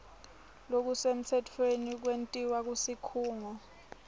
lokusemtsetfweni kwentiwa kusikhungo